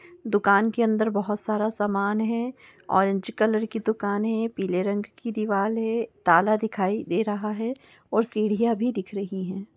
दुकान के अंदर बहुत सारा सामान है। ऑरेंज कलर की दुकान है। पीले रंग की दीवाल है। ताला दिखाई दे रहा है और सीढ़ियां भी दिख रही हैं।